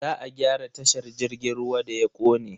Za a gyara tashar jirgin ruwa da ya kone.